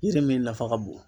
Yiri min nafa ka bon.